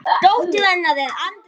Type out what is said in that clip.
Dóttir hennar er Andrea Nótt.